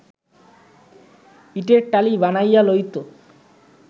ইটের টালি বানাইয়া লইত